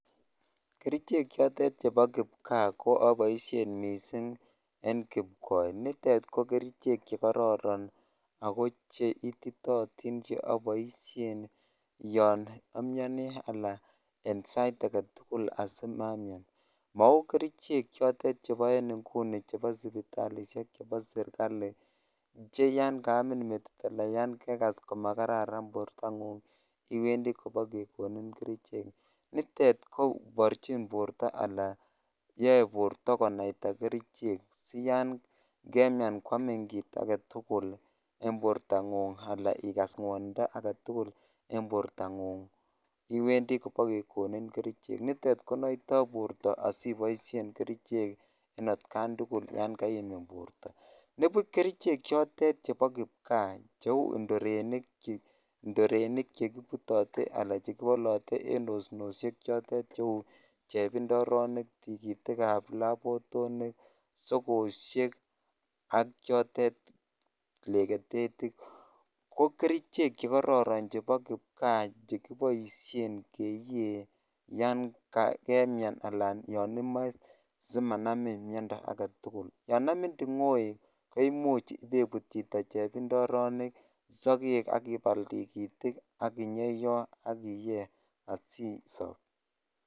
Kerichek chotet chebo kipkaa ko aboisien mising en kipkoi. Nitet ko kerichek chekororon ago che ititootin che aboisien yon amiani ana ensait age tugul asimamian. Mau kerichek chotet chebo en inguni chebo sipitalisiek chebo sergali cheyon kaamin metit anan yon kegas komagararan metingung iwendi kobakegonin kerichek. Nitet koborchin borto anan yoe borto konaita kerichek siyan kemian kwamin kit agetugul en bortangung anan igas ngwonindo agetugul en bortangung iwendi bokekoninin kerichek. Nitet konoito borto asiboisien kerichek en atkan tugul yon kaimin borto. Nibuch kerichek chotet chebo kipkaa chue indurenik chekibutate anan chekibolote en osnosiek chotet cheu chepindoronik, tikitikab labotinik, sogosiek ak chotet legetetik, ko kerichek che kororon chebo kipkaa chekiboisien keyee yon kemian anan yon imoe simanamin miondo age tugul. Yon amin tingoek imuch ibaibut chito chepindoronik sogek ak ibal tugitik ak inyeiyo ak iye asisop.